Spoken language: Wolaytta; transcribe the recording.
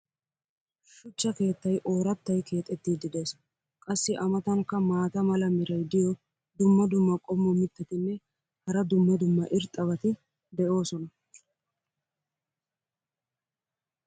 shuchcha keettay oorattay keexettiidi des. qassi a matankka maata mala meray diyo dumma dumma qommo mitattinne hara dumma dumma irxxabati de'oosona.